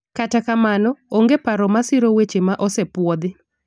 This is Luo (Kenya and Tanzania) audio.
kata kamano, onge paro masiro wechego ma osepuodhi